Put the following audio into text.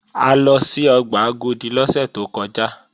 A lọ sí ọgbà Agodi lọ́sẹ̀ tó kọjá